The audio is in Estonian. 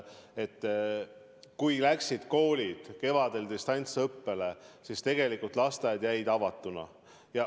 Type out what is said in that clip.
Et kui koolid läksid kevadel distantsõppele, siis tegelikult lasteaiad jäid avatuks.